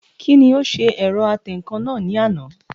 Kí ni ó ṣe ẹ̀rọ atẹǹkan náà ní àná?